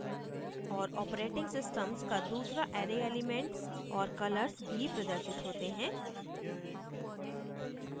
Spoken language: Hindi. औऱ operating _ systems का दूसरा array element और colors भी प्रदर्शित होते हैं